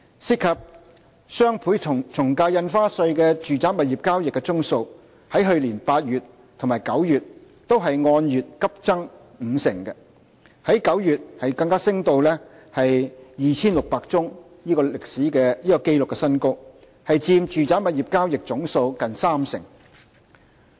涉及雙倍從價印花稅的住宅物業交易宗數，在去年8月和9月均按月急增五成，在9月更加升至 2,600 宗的紀錄新高，佔住宅物業交易總數近三成。